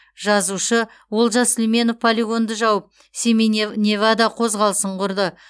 жазушы олжас мүлейменов полигонды жауып семей невада қозғалысын құрды